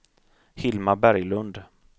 Hilma Berglund